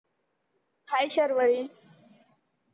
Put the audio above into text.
hi Sharvari